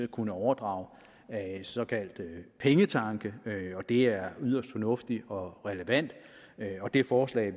kunne overdrage såkaldte pengetanke og det er yderst fornuftigt og relevant og det forslag